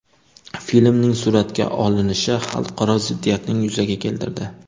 Filmning suratga olinishi xalqaro ziddiyatning yuzaga keltirdi.